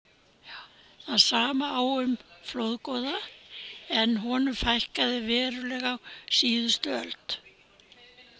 Það sama á við um flórgoða en honum fækkaði verulega á síðustu öld.